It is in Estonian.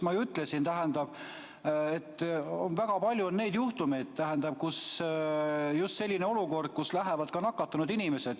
Ma ju ütlesin, tähendab, et on väga palju neid juhtumeid, kui on just selline olukord, kus lähevad ka nakatunud inimesed.